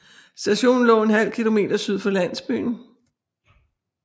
Stationen lå ½ km syd for landsbyen